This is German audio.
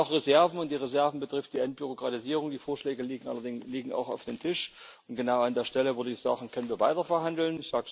Wir haben noch Reserven, und die Reserven betreffen die Entbürokratisierung, die Vorschläge liegen auch auf dem Tisch, und genau an der Stelle, würde ich sagen, können wir weiter verhandeln.